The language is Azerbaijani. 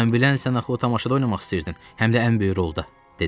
Mən bilən sən axı o tamaşada oynamaq istəyirdin, həm də ən böyük rolda, dedim.